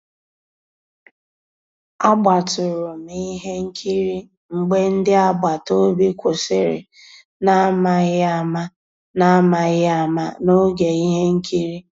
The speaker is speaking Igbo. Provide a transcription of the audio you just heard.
Àgbátụ̀rụ̀ m ihe nkírí mgbé ndị́ àgbàtà òbí kwụ́sị́rí n'àmàghị́ àmá n'àmàghị́ àmá n'ògé íhé nkírí.